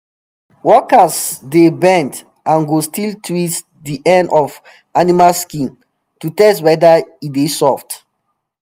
workers dey bend and go still twist di end of animal skin to test whether e dey soft